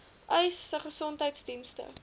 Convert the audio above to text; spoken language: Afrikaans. uys sê gesondheidsdienste